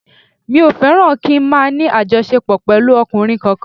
Mi ò fẹ́ràn kí n máa ní àjọṣepọ̀ pẹ̀lú ọkùnrin kankan